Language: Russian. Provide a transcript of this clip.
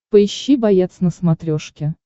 поищи боец на смотрешке